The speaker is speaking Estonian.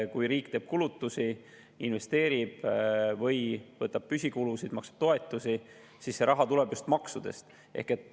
Kui riik teeb kulutusi, investeerib või võtab püsikulusid ja maksab toetusi, siis see raha tuleb just maksudest.